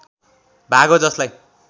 भाग हो जसलाई